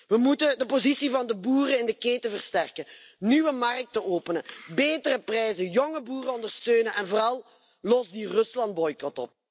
We moeten de positie van de boeren in de keten versterken, nieuwe markten openen, betere prijzen, jonge boeren ondersteunen, en vooral los die Ruslandboycot op.